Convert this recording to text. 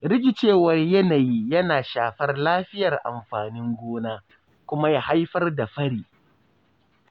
Rikicewar yanayi yana shafar lafiyar amfanin gona, kuma ya haifar da fari.